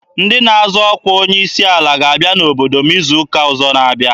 Ndị na-azọ ọkwa onye isi ala ga-abịa n'obodo m izu ụka ọzọ.